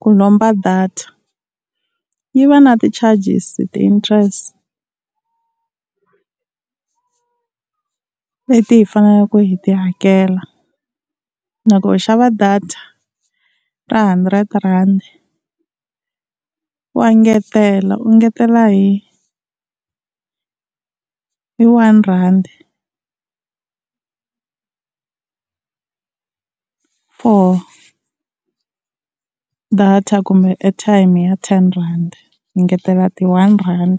ku lomba data yi va na ti-charges ti-interest leti hi faneleke hi ti hakela. Loko u xava data ra hundred-rand wa ngetela u ngetela hi one rhandi for data kumbe airtime ya ten rand hi ngetela ti-one rand.